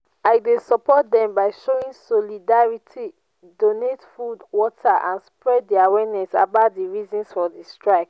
i dey support dem by showing solidarity donate food water and spread di awareness about di reasons for di strike.